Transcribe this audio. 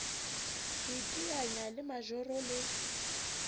ho iteanya le majoro le